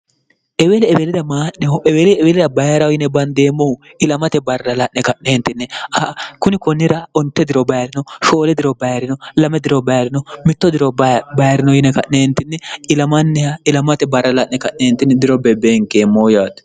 eweli eweeleda maa'neho eweeli eweelida bayira yine bandeemmohu ilamate barrala'ne ka'neentinni kuni konnira onte diro bayirino shoole diro bayirino lame diro bayirino mitto diro bayirino yine ka'neentinni ilamanniha ilamate barrala'ne ka'neentinni diro beebeenkeemmoo yaate